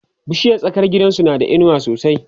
bishiyar tsakar gidansu na da inuwa sosai